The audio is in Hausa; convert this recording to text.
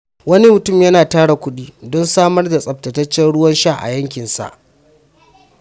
Wani mutum yana tara kuɗi don samar da tsaftataccen ruwan sha a yankinsa.